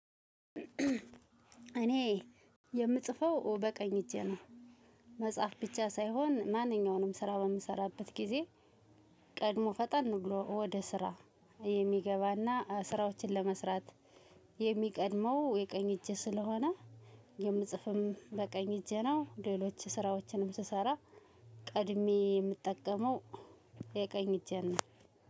እኔ የምጽፈው በቀኝ እጄ ነው። መጻፍ ብቻ ሳይሆን ማንኛውንም ስራ በምሰራበት ጊዜ ቀድሞ ፈጠን ብሎ ወደ ስራ የሚገባና ስራዎችን ለመስራት የሚቀድመው የቀኝ እጄ ስለሆነ። የምጽፍም በቀኝ እጄ ነው ሌሎች ስራዎችንም ስሰራ ቀድሜ የምጠቀመው የቀኝ እጄን ነው።